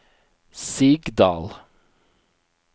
Sigdal